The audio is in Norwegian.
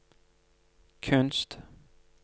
kunst